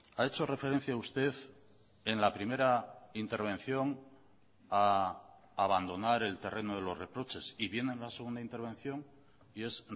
ha hecho referencia usted en la primera intervención a abandonar el terreno de los reproches y viene en la segunda intervención y es